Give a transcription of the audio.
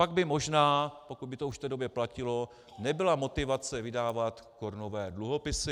Pak by možná, pokud by to už v té době platilo, nebyla motivace vydávat korunové dluhopisy.